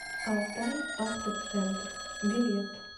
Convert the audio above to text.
алтайавтоцентр билет